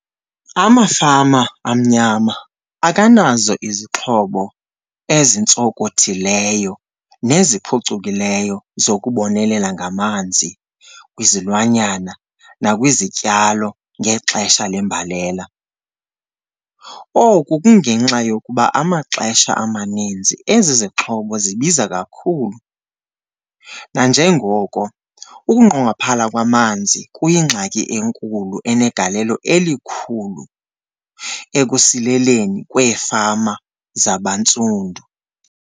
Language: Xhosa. Amafama amnyama akanazo izixhobo ezintsokothileyo neziphucukileyo zokubonelela ngamanzi kwizilwanyana nakwizityalo ngexesha lembalela. Oku kungenxa yokuba amaxesha amaninzi ezi zixhobo zibiza kakhulu, nanjengoko ukunqongophala kwamanzi kuyingxaki enkulu enegalelo elikhulu ekusileleni kweefama zabantsundu.